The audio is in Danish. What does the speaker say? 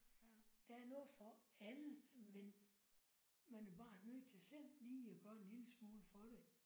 Der er noget for alle men man er bare nødt til selv lige at gøre en lille smule for det